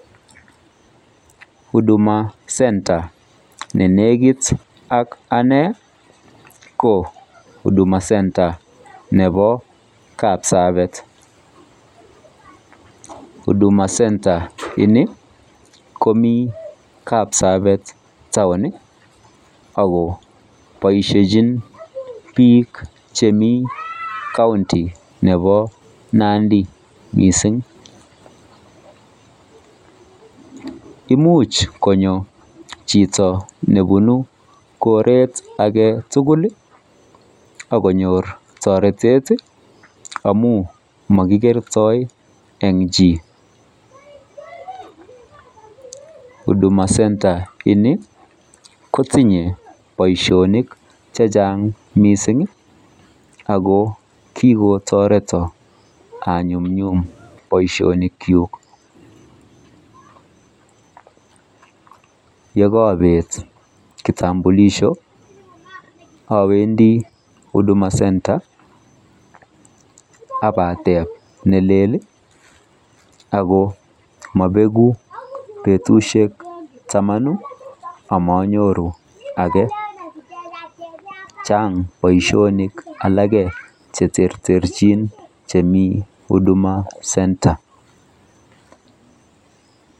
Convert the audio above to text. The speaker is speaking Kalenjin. Huduma center ne negit ak ane ko huduma center nebo kapsabet huduma center in ko mi kapsabet taon boishechin bik chemi county nebo Nandi imuch konyo chito nebunu koret age tugul akonyor toretet amun mogigertoi en chi huduma center ni ko tinyo boishonik chechang mising ago kigotoreton anyumnyum boishonik chuk yekorobet kitambulisho awendi huduma center abateb nelel ako mobegu betushek tamanu amanyoru ake chany boishonik cheterchin en huduma center